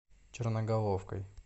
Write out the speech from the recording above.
черноголовкой